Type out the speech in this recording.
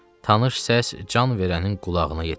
Tanış səs can verənin qulağına yetişdi.